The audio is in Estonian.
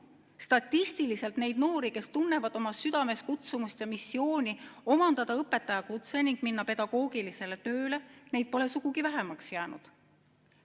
Statistiliselt pole neid noori, kes tunnevad oma südames kutsumust ja missiooni omandada õpetajakutse ning minna pedagoogilisele tööle, sugugi vähemaks jäänud.